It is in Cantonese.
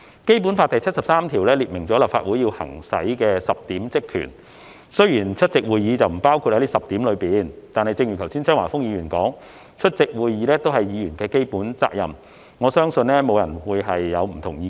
《基本法》第七十三條列明立法會行使的10項職權，雖然出席會議並不包括在這10項內，但正如剛才張華峰議員說，出席會議是議員的基本責任，我相信沒有人會有不同意見。